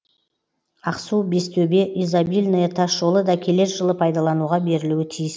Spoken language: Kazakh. ақсу бестөбе изобильное тасжолы да келер жылы пайдалануға берілуі тиіс